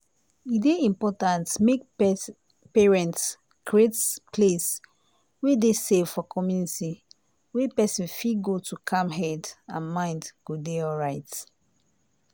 e dey important make parents create place wey dey safe for community wey person fit go to calm head and mind go dey alright.